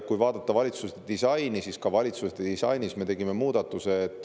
Ka valitsuse disainis me tegime muudatuse.